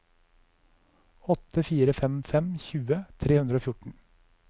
åtte fire fem fem tjue tre hundre og fjorten